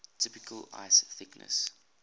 typical ice thickness